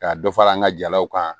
Ka dɔ fara an ka jalaw kan